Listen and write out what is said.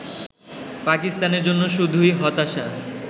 পাকিস্তানের জন্য শুধুই হতাশার